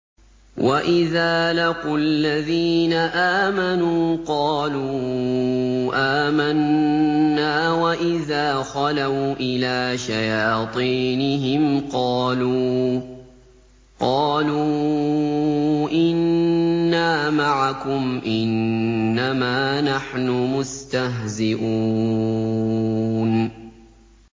وَإِذَا لَقُوا الَّذِينَ آمَنُوا قَالُوا آمَنَّا وَإِذَا خَلَوْا إِلَىٰ شَيَاطِينِهِمْ قَالُوا إِنَّا مَعَكُمْ إِنَّمَا نَحْنُ مُسْتَهْزِئُونَ